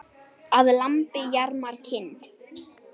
Að lambi jarmar kind.